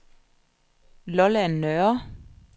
Lolland Nørre